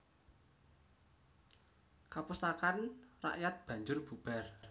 Kapustakan rakyat banjur bubar